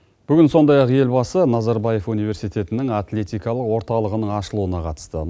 бүгін сондай ақ елбасы назарбаев университетінің атлетикалық орталығының ашылуына қатысты